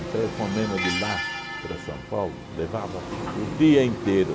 Um telefonema de lá para São Paulo levava o dia inteiro.